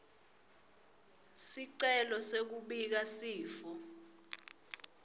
sicelo sekubika sifo